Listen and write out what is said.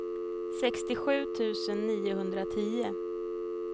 sextiosju tusen niohundratio